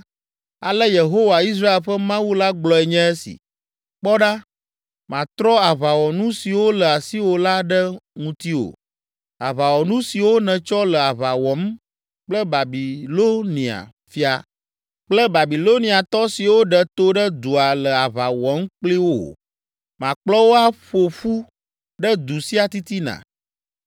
‘Ale Yehowa, Israel ƒe Mawu la gblɔe nye esi: Kpɔ ɖa, matrɔ aʋawɔnu siwo le asiwò la ɖe ŋutiwò, aʋawɔnu siwo nètsɔ le aʋa wɔm kple Babilonia fia kple Babiloniatɔ siwo ɖe to ɖe dua le aʋa wɔm kpli wò. Makplɔ wo aƒo ƒu ɖe du sia titina.